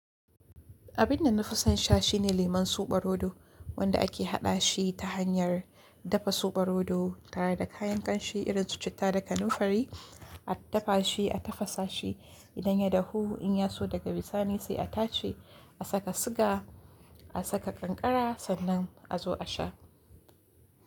Abin da na fi son sha shine lemun suɓarodo, wanda ake haɗa shi ta hanyar dafa suɓarodo tare da kayan kanshi irin su citta da kanunfari, a dafa shi, a tafasa shi idan ya dahu in ya so daga bisani sai a tace, a saka siga, a saka kankara sannan a zo a sha.